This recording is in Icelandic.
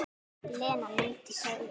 Lena mundi segja.